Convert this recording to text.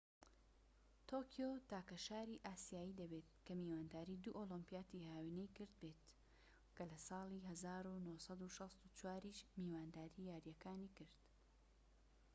تۆکیۆ تاکە شاری ئاسیایی دەبێت کە میوانداری دوو ئۆلیمپیاتی هاوینەی کرد بێت کە لە ساڵی 1964یش میوانداری یاریەکانی کرد